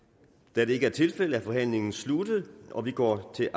da det ikke er tilfældet er forhandlingen sluttet og vi går til